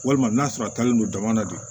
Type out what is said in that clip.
Walima n'a sɔrɔ a taalen don dama na de